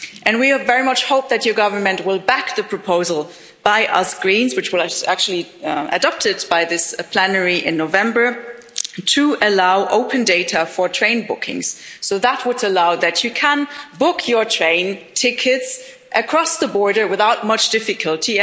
We very much hope that your government will back the proposal by us Greens, which was actually adopted by this plenary in November, to allow open data for train bookings that would allow you to book your train tickets across the border without much difficulty.